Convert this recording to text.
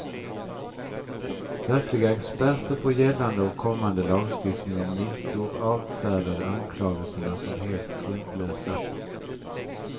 Verkliga experter på gällande och kommande lagstiftning om mutor avfärdade anklagelserna som helt grundlösa.